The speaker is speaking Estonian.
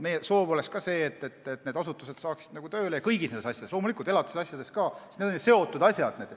Meie soov oleks ka see, et need asutused saaksid tööle hakata kõigi nende asjadega, loomulikult ka elatisasjadega, sest need on ju seotud asjad.